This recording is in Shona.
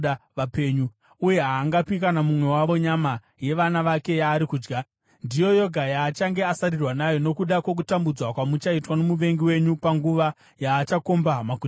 uye haangapi kune mumwe wavo nyama yevana vake yaari kudya. Ndiyo yoga yaachange asarirwa nayo nokuda kwokutambudzwa kwamuchaitwa nomuvengi wenyu panguva yaachakomba maguta enyu ose.